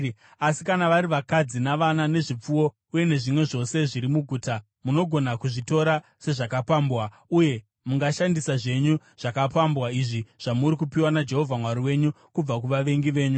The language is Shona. Asi kana vari vakadzi, navana nezvipfuwo uye nezvimwe zvose zviri muguta, munogona kuzvitora sezvakapambwa. Uye mungashandisa zvenyu zvakapambwa izvi zvamuri kupiwa naJehovha Mwari wenyu kubva kuvavengi venyu.